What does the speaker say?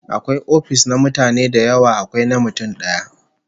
Akwai ofis na mutane da yawa, akwai na mutum daya